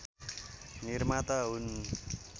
निर्माता हुन्